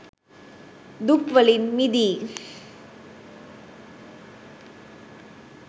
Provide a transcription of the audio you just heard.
දුක් වලින් මිදී